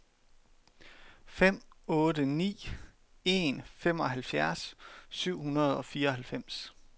fem otte ni en femoghalvfjerds syv hundrede og fireoghalvfems